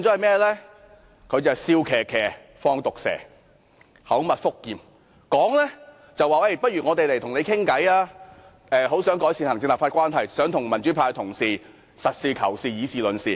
她是"笑騎騎，放毒蛇"，口蜜腹劍，口說不如大家坐下來談，她很想改善行政立法關係，想與民主派同事實事求是、以事論事。